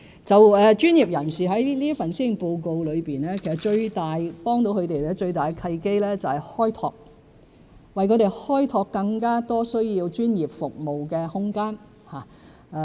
在這份施政報告中，最能協助專業人士的契機是"開拓"，為他們開拓更多需要專業服務的空間。